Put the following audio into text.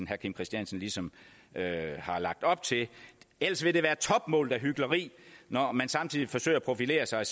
herre kim christiansen ligesom har lagt op til ellers vil det være topmålet af hykleri når man samtidig forsøger at profilere sig